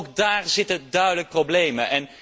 Dus ook daar zitten duidelijk problemen.